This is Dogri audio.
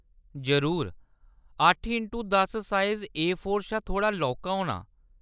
जरूर, अट्ठ इंटू दस साइज़ ए फोर शा थोह्‌ड़ा लौह्‌‌‌का होना।